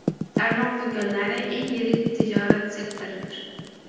Tarmoq do‘konlari eng yirik tijorat sektoridir.